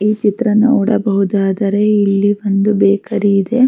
ಈ ಚಿತ್ರ ನೋಡಬಹುದಾದರೆ ಇಲ್ಲಿ ಒಂದು ಬೇಕರಿ ಇದೆ --